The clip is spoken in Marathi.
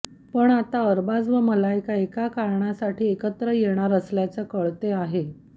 पण आता अरबाज व मलायका एका कारणासाठी एकत्र येणार असल्याचे कळते आहे